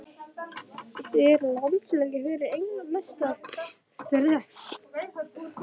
Er landsleikur fyrir England næsta þrep?